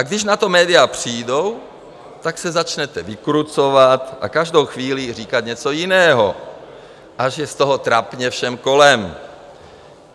A když na to média přijdou, tak se začnete vykrucovat a každou chvíli říkat něco jiného, až je z toho trapně všem kolem.